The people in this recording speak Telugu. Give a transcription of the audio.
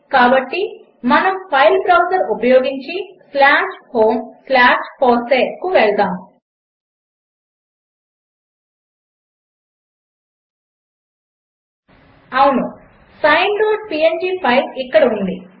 కాబట్టి మనము ఫైల్ బ్రౌజర్ ఉపయోగించి homefossee కు వెళ్దాము అవును sineపీఎన్జీ ఫైల్ ఇక్కడ ఉంది